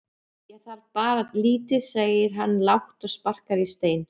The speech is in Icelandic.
Ég þarf bara lítið segir hann lágt og sparkar í stein.